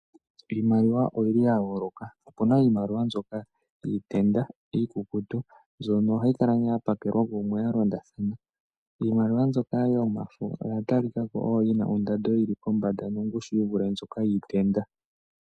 Iimaliwa oyili ya yooloka opuna iimaliwa mbyoka yiitenda iikukutu mbyono ohayi kala ya tulwa melandulathano kumwe ya londathana. Iimaliwa mbyoka yomafo oya talikako yina ondando nongushu yi vule mbyoka yiitenda.